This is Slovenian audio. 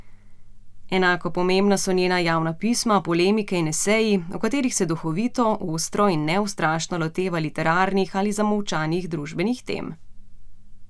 Enako pomembna so njena javna pisma, polemike in eseji, v katerih se duhovito, ostro in neustrašno loteva literarnih ali zamolčanih družbenih tem.